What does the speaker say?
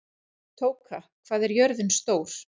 Tóka, hvað er jörðin stór?